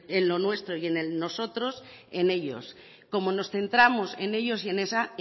en lo nuestro y en el nosotros en ellos como nos centramos en ellos y en ellas